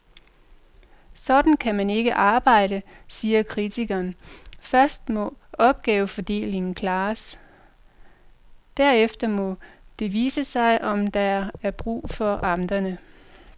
Sådan kan man ikke arbejde, siger kritikerne, først må opgavefordelingen klares, derefter må det vise sig, om der er brug for amterne.